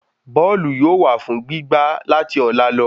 Bóòlù yóò wà fún gbí gbá láti ọ̀la lọ